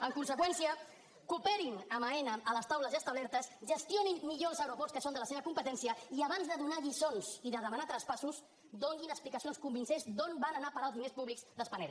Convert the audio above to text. en conseqüència cooperin amb aena a les taules ja establertes gestionin millor els aeroports que són de la seva competència i abans de donar lliçons i de demanar traspassos donin explicacions convincents d’on van anar a parar els diners públics de spanair